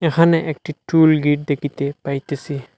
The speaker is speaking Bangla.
এখানে একটি টুল টোল গেট দেখিতে পাইতেছি।